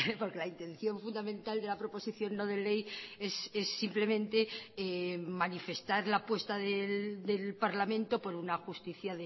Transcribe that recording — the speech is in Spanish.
porque la intención fundamental de la proposición no de ley es simplemente manifestar la apuesta del parlamento por una justicia